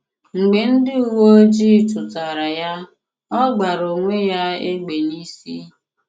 M̀gbè ndị uwe ojii chụ̀tára ya, ọ gbàrà onwé ya égbè n'ìsi